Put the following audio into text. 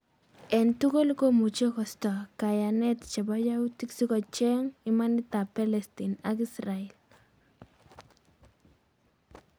En tugul, komuche kosta kayanet chepo yautik si kochek imanit ap pelestine ak israel